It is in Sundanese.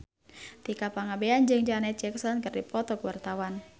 Tika Pangabean jeung Janet Jackson keur dipoto ku wartawan